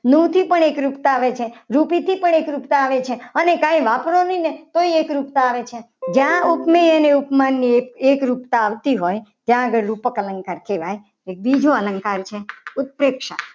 મુક્તિ પણ એકરૂપતા આવે છે. રૂપથી પણ એકરૂપતા આવે છે. રૂપી થી પણ એકરૂપતા આવે છે. અને કંઈ વાપરો નહીં. ને તોય એકરૂપતા આવે છે. જ્યાં ઉપમેય અને ઉપમાનની એકરૂપતા આવતી હોય. ત્યાં આગળ રૂપક અલંકાર કહેવાય છે. એક બીજો અલંકાર છે. ઉપેક્ષા